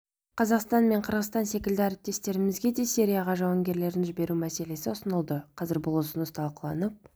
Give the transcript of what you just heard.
қазақстан мен қырғызстан секілді әріптестерімізге де сирияға жауынгерлерін жіберу мәселесі ұсынылды қазір бұл ұсыныс талқыланып